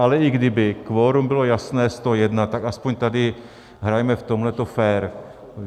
Ale i kdyby, kvorum bylo jasné 101, tak aspoň tady hrajme v tomhle fér.